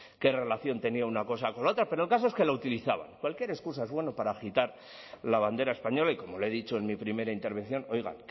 qué relación tenía una cosa con otra pero el caso es que la utilizaban cualquier excusa es buena para agitar la bandera española y como le he dicho en mi primera intervención oiga